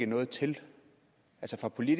noget til som i